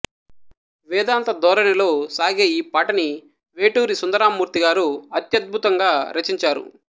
వేదాంత ధోరణిలో సాగే ఈ పాటని వేటూరి సుందరరామ్మూర్తి గారు అత్యద్భుతంగా రచించారు